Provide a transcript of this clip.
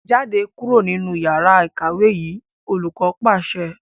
Jáde kúrò nínú yàrá ìkàwé yìí! Olùkọ́ pàṣẹ.